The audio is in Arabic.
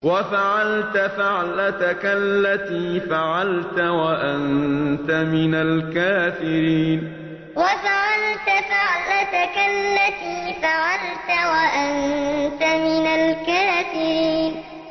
وَفَعَلْتَ فَعْلَتَكَ الَّتِي فَعَلْتَ وَأَنتَ مِنَ الْكَافِرِينَ وَفَعَلْتَ فَعْلَتَكَ الَّتِي فَعَلْتَ وَأَنتَ مِنَ الْكَافِرِينَ